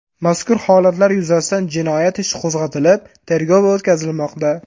Mazkur holatlar yuzasidan jinoyat ishi qo‘zg‘atilib, tergov o‘tkazilmoqda.